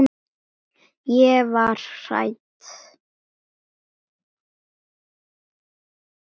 Ég var hrædd.